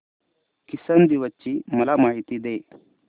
किसान दिवस ची मला माहिती दे